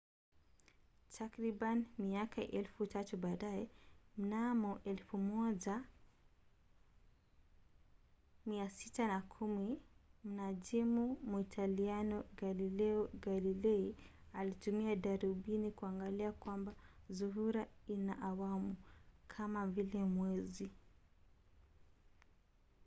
takribani miaka elfu tatu baadaye mnamo 1610 mnajimu muitaliano galileo galilei alitumia darubini kuangalia kwamba zuhura ina awamu kama vile mwezi